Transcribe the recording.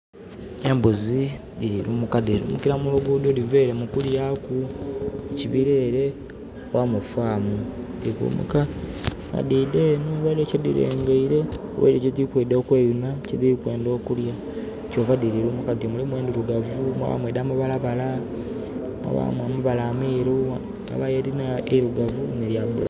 Embuzi dhili lumuka, dhili lumukila mu luguudo dhiva ere mu kulyaku, mu kibira ere nga mu farm. Dhili kulumuka nga dhiida eno waliwo kyedhilengeile. Waliwo kyedhili kwiidha okweyuna, kyedhili kwenda okulya, kyova dhili lumuka dhiti. Mulimu endhilugavu, mwabaamu edh'amabalabala, mwabaamu amabala ameeru, yabaayo edhilina eilugavu n'elya